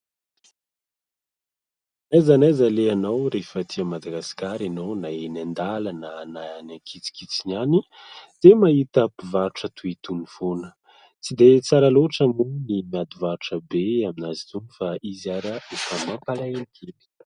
Naiza na naiza alehanao rehefa aty Madagasikara ianao na eny an-dalana na any an-kitsikitsiny any dia mahita mpivarotra toy itony foana. Tsy dia tsara loatra moa ny miady varotra be amin'azy itony fa izy ary efa mampalahelo kely.